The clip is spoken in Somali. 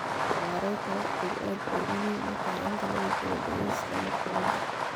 Maareynta waqtigu aad bay muhiim u tahay inta lagu jiro dhageysiga maxkamadda.